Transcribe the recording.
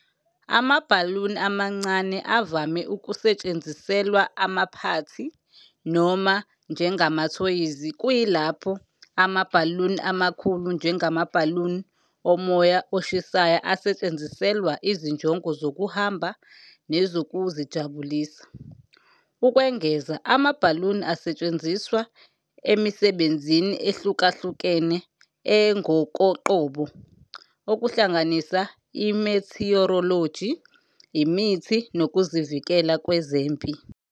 Amabhaluni amancane avame ukusetshenziselwa amaphathi noma njengamathoyizi, kuyilapho amabhaluni amakhulu, njengamabhaluni omoya oshisayo, asetshenziselwa izinjongo zokuhamba nezokuzijabulisa. Ukwengeza, amabhaluni asetshenziswa emisebenzini ehlukahlukene engokoqobo, okuhlanganisa i-meteorology, imithi, nokuzivikela kwezempi.